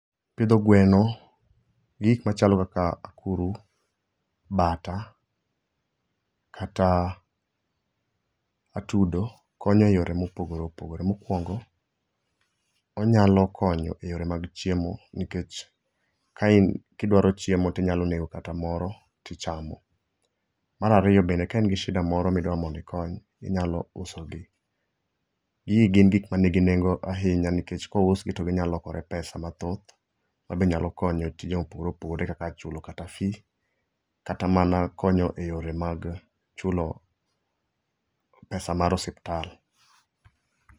Pidho gweno gi gik machalo kaka akuru, bata kata atudo konyo e yore mopogore opogore. Mokwongo, onyalo konyo e yore mag chiemo nikech kidwaro chiemo tinyalo nego kata moro tichamo. Mar ariyo bende, ka in gi shida moro midwa mondo ikony inyalo usogi. Gigi gin gik manigi nengo ahinya nikech kousgi to ginyalokore pesa mathoth mabe nyalo konyo e tije mopogore opogore kaka chulo kata fee kata mana konyo e yore mag chulo pesa mar osiptal